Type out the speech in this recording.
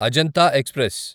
Ajanta express